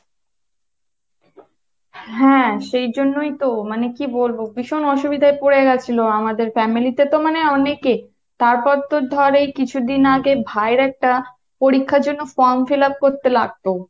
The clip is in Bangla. হ্যাঁ সেজন্যই তো, মানে কি বলবো, ভীষণ অসুবিধায় পরে গেছিলো আমাদের family তে তো মানে অনেকে তারপর তোর ধর এই কিছুদিন আগে ভাইয়ের একটা পরীক্ষার জন্য from fill up করতে লাগতো